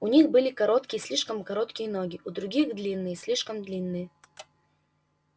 у них были короткие слишком короткие ноги у других длинные слишком длинные